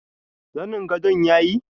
zanin gadon yayi.